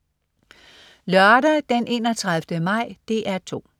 Lørdag den 31. maj - DR 2: